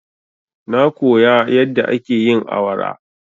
Na koya yadda ake yin awara.